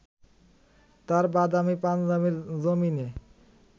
তাঁর বাদামি পাঞ্জাবির জমিনে